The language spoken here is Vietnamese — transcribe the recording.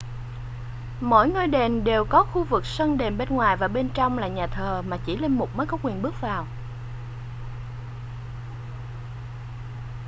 mỗi ngôi đền đều có khu vực sân đền bên ngoài và bên trong là nhà thờ mà chỉ linh mục mới có quyền bước vào